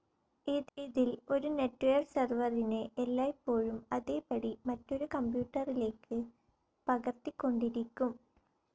ഇതിൽ ഒരു നെറ്റ്വെയർ സെർവറിനെ എല്ലായ്പോഴും അതേപടി മറ്റൊരു കമ്പ്യൂട്ടറിലേക്ക് പകർത്തിക്കൊണ്ടിരിക്കും.